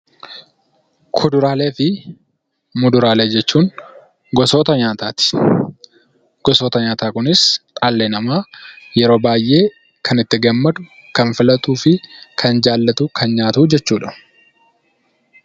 Kuduraalee fi muduraalee jechuun gosoota nyaataati. Gosoota nyaataa kunis dhalli namaa yeroo baayyee kan itti gammadu, kan filatuu fi kan jaallatu, kan nyaatuu jechuudha.